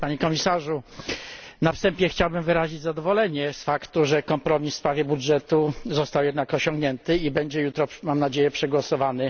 Na wstępie chciałbym wyrazić zadowolenie z faktu, że kompromis w sprawie budżetu został jednak osiągnięty i będzie jutro, mam nadzieję, przegłosowany.